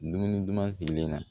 Dumuni duman silen na